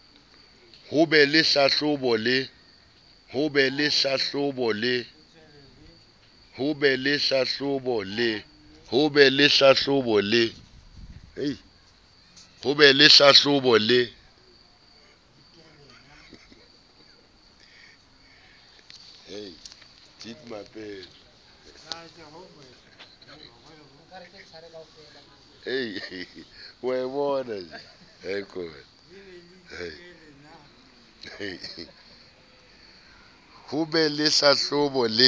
ho be le hlahlobo le